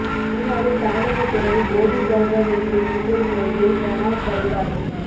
சீனாவில் தமிழக துறவி போதி தர்மர் நிறுவிய புத்தர் கோயிலில் பிரணாப் வழிபாடு